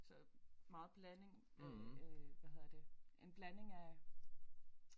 Så meget blanding øh hvad hedder det en blanding af